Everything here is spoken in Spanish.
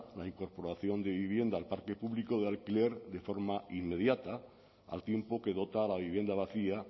la incorporación de vivienda al parque público de alquiler de forma inmediata al tiempo que dota a la vivienda vacía